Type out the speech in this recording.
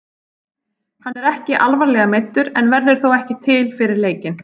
Hann er ekki alvarlega meiddur en verður þó ekki til fyrir leikinn.